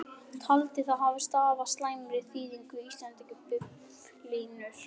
Taldi það stafa af slæmri þýðingu íslensku biblíunnar.